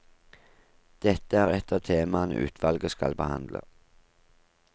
Dette er ett av temaene utvalget skal behandle.